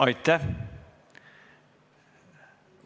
Aitäh!